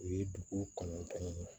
U ye dugu kɔnɔntɔn ɲini